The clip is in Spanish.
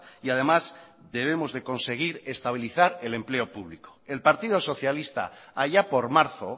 y además debemos de conseguir estabilizar el empleo público el partido socialista allá por marzo